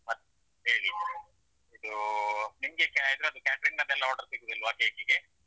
ಮತ್ ಹೇಳಿ ಇದೂ ನಿಮ್ಗೆ ಇದ್ರದ್ದು ಅದ್ದು ಎಲ್ಲಾ catering order ಸಿಗುದಿಲ್ವಾ cake ಗೆ.